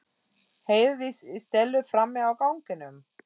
heyrðist í Stellu frammi á ganginum